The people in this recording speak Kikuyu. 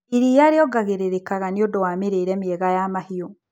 Iria riongagĩrĩrika nĩũndũ wa mĩrĩire miega ya mahiũ.